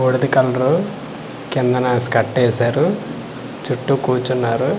బుడిద colour కిందన skirt ఏసారు చుట్టూ కూర్చున్నారు .